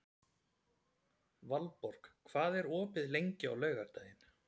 Valborg, hvað er opið lengi á laugardaginn?